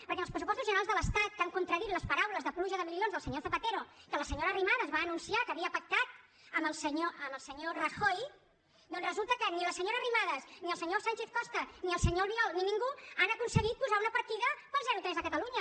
perquè en els pressupostos generals de l’estat que han contradit les paraules de pluja de milions del senyor zapatero que la senyora arrimadas va anunciar que havia pactat amb el senyor rajoy doncs resulta que ni la senyora arrimadas ni el senyor sánchez costa ni el senyor albiol ni ningú han aconseguit posar una partida per al zero tres a catalunya